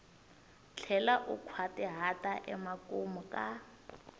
tlhela u nkhwatihata emakumu ka